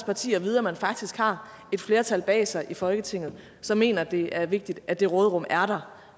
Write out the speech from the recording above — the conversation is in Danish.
parti at vide at man faktisk har et flertal bag sig i folketinget som mener at det er vigtigt at det råderum er der